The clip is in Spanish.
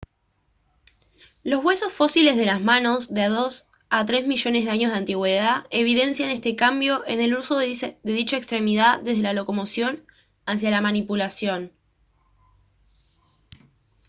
los huesos fósiles de las manos de dos a tres millones de años de antigüedad evidencian este cambio en el uso de dicha extremidad desde la locomoción hacia la manipulación